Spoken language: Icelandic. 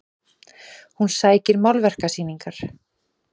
Hún sækir málverkasýningar